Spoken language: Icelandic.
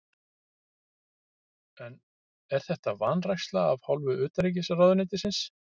En er þetta vanræksla af hálfu utanríkisráðuneytisins?